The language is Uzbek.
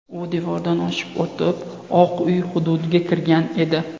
U devordan oshib o‘tib, Oq uy hududiga kirgan edi.